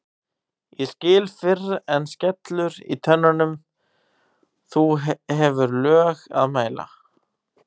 ég skil fyrr en skellur í tönnum þú hefur lög að mæla